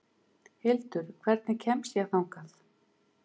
Hildur, hvernig kemst ég þangað?